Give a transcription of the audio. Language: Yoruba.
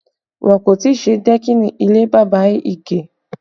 Wọn kò tí ì ṣe dẹ́kìnì ilé bàbá Ige